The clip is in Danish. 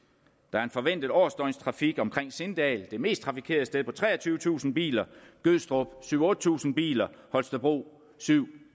er en forventet årsdøgnstrafik omkring sindal det mest trafikerede sted på treogtyvetusind biler gødstrup syv tusind otte tusind biler holstebro syv